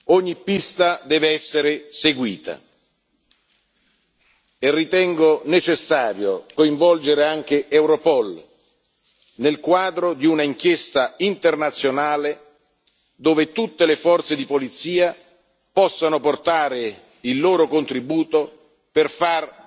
Ogni pista deve essere seguita, e ritengo necessario coinvolgere anche Europol nel quadro di un'inchiesta internazionale dove tutte le forze di polizia possano portare il loro contributo per